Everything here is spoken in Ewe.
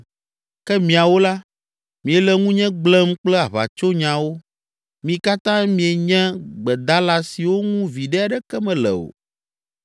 Ke miawo la, miele ŋunye gblẽm kple aʋatsonyawo, mi katã mienye gbedala siwo ŋu viɖe aɖeke mele o!